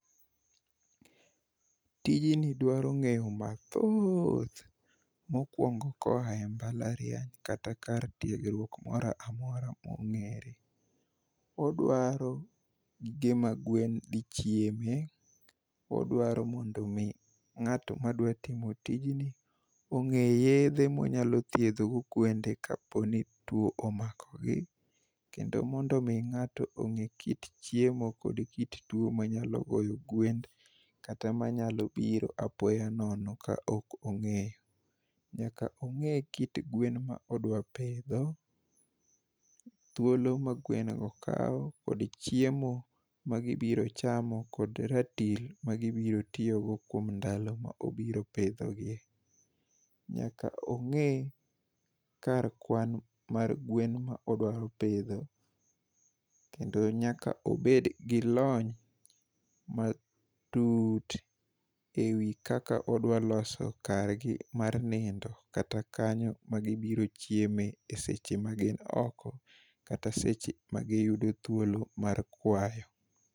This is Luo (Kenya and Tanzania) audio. Tijni dwaro ng'eyo mathooth mokwongo koa e mbalariany kata kar tiegruok moro amora mong'ere. Odwaro gige ma gwen dhi chieme, odwaro mondo omi ng'ato ma dwatimo tijni ong'e yedhe monyalo thiedhogo gwende kaponi tuo omakogi kendo mondo omi ng'ato ong'e kit chiemo kod kit tuo manyalo goyo gwen kata manyalo biro apoya nono ka ok ong'eyo. Nyaka ong'e kit gwen ma odwa pidho, thuolo ma gwengo kawo kod chiemo ma gibiro chamo kod ratil magibiro tiyogo kuom ndalo ma obiro pidhogie. Nyaka ong'e kar kwan mar gwen ma odwaro pidho, kendo nyaka obedgi lony matut e wi kaka odwaloso kargi mar nindo kata kanyo magibiro chieme e seche magin oko kata seche magiyudo thuolo mar kwayo